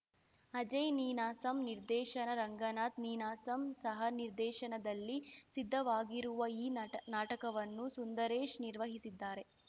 ಅಜಯ್‌ ನೀನಾಸಂ ನಿರ್ದೇಶನ ರಂಗನಾಥ್‌ ನೀನಾಸಂ ಸಹನಿರ್ದೇಶನದಲ್ಲಿ ಸಿದ್ಧವಾಗಿರುವ ಈ ನಾಟ್ ನಾಟಕವನ್ನು ಸುಂದರೇಶ್‌ ನಿರ್ವಹಿಸಿದ್ದಾರೆ